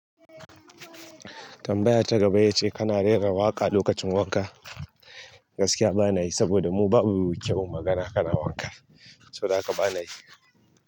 Tambaya ta gaba ita ce kana rera waƙa lokacin wanka? Gaskiya bana yi, saboda mu babu kyawun magana kana wanka, so daga bana yi.